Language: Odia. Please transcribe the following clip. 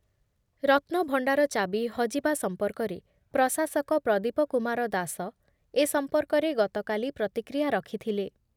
ରତ୍ନଭଣ୍ଡାର ଚାବି ହଜିବା ସଂପର୍କରେ ପ୍ରଶାସକ ପ୍ରଦୀପ କୁମାର ଦାସ ଏ ସଂପର୍କରେ ଗତକାଲି ପ୍ରତିକ୍ରିୟା ରଖୁଥିଲେ ।